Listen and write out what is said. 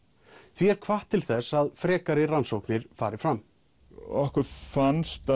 því er hvatt til þess að frekari rannsóknir fari fram okkur fannst